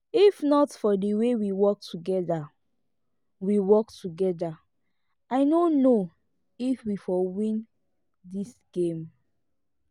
if not for the way we work together we work together i no know if we for win dis game